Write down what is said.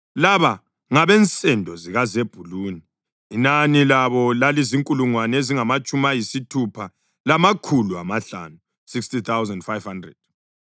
Laba ngabensendo zikaZebhuluni, inani labo lalizinkulungwane ezingamatshumi ayisithupha lamakhulu amahlanu (60,500).